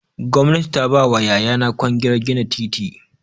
Gwamnati ta ba wa yayana kwangilar gina titi.